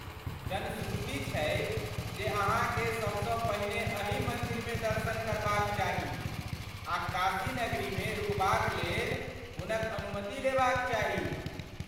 जनश्रुति छै जे अहाँकेँ सबसँ पहिने अही मन्दिरमे दर्शन करबाक चाही आ काशी नगरीमे रुकबाक लेल हुनक अनुमति लेबाक चाही।